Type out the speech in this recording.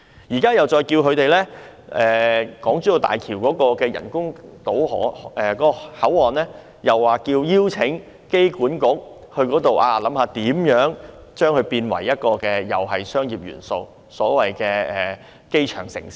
機管局亦獲邀就港珠澳大橋香港口岸的發展給予意見，看看如何將其發展成具商業元素的所謂機場城市。